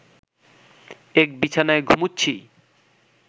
এক বিছানায় ঘুমুচ্ছিই